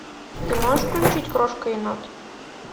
ты можешь включить крошка енот